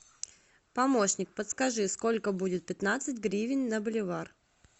помощник подскажи сколько будет пятнадцать гривен на боливар